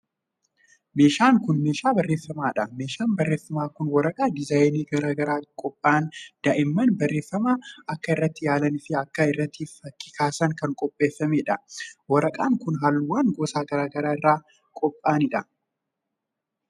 Meeshaan kun, meeshaa barreeffamaa dha. Meeshaan barreeffamaa kun waraqaa diizaayinii garaa garaan qopha'an daa'imman barreeffama akka irratti yaalanii fi akka irratti fakki kaasaniif kan qopheeeffamee dha. Waraqaan kun, haalluuwwan gosa garaa garaa irraa qopha'an.